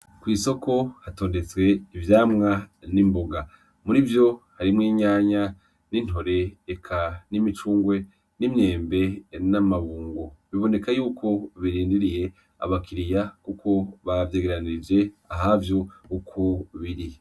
Kwisoko hatondetse ivyamwa nimboga , murivyo harimwo inyanya n'intore eka n'imicungwe nimyembe n'amabungo, bibonekako yuko birindiriye abakiriya kuko bavyegeranije ahavyo uko biri.